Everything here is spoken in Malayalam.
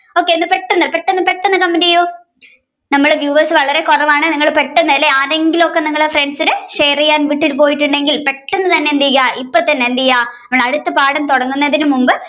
okay ഒന്ന് പെട്ടെന്ന് പെട്ടെന്ന് comment ചെയ്യൂ നമ്മുടെ viewers വളരെ കുറവാണ് നിങ്ങൾ പെട്ടെന്നു അല്ലെ ആരെങ്കിലും ഒക്കെ നിങ്ങളുടെ friends ന് share ചെയ്യാൻ വിട്ടു പോയിട്ടുണ്ടെങ്കിൽ പെട്ടെന്ന് തന്നെ എന്ത്ചെയ്യുക ഇപ്പോൾ തന്നെ എന്ത്ചെയ്യുക നമ്മൾ അടുത്ത പാഠം തുടങ്ങുന്നതിന് മുൻപ്